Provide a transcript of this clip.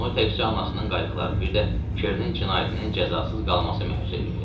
Onu təkcə anasının qayğıları, bir də Çernin cinayətinin cəzasız qalması məyus eləyirdi.